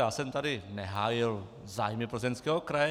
Já jsem tady nehájil zájmy Plzeňského kraje.